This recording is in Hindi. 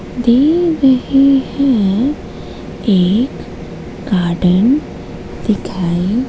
दे रहे हैं एक गार्डन दिखाई--